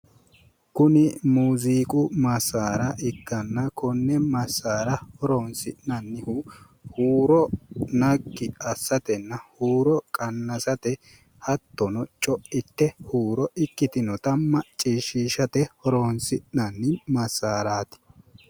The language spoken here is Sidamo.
kuni muziiqu massaara ikkanna konne massaara horonsi'nannihu huuro naggi assatenna huuro qannasate hattono co'ite huuro ikkitinota maccishshiishate horonsi'nanni massaraati